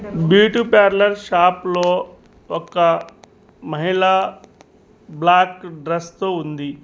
Beauty parlour shop లో ఒక్క మహిళ బ్లాక్ డ్రెస్ తో ఉంది.